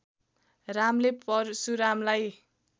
रामले परशुरामलाई